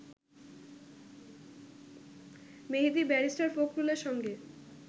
মেহেদী barrister ফখরুলের সঙ্গে